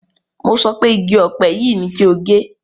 Mo sọ pé igi ọ̀pẹ yìí ni kí o gé!